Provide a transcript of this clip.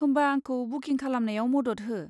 होमबा आंखौ बुकिं खालामनायाव मदद हो।